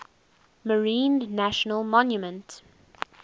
marine national monument